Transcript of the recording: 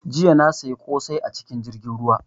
Jiya na siya kosai a cikin jirgin ruwa